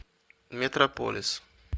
метрополис